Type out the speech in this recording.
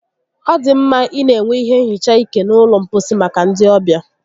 Ọ dị mma ịna enwe ihe nhicha ike n'ụlọ mposi maka ndi ọbịa